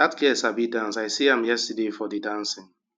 dat girl sabi dance i see am yesterday for the dancing